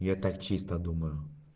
я так чисто думаю